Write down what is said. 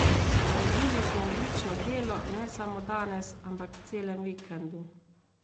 Naredili smo odlično delo, ne samo danes, ampak v celem vikendu.